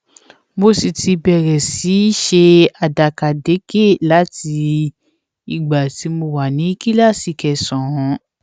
mo sì ti bẹrẹ sí í ṣe àdàkàdekè láti ìgbà tí mo wà ní kíláàsì kẹsànán